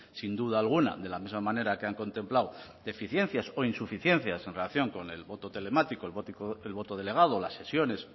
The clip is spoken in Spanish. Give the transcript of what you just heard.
sin duda alguna de la de la misma manera que han contemplado deficiencias o insuficiencias en relación con el voto telemático el voto delegado las sesiones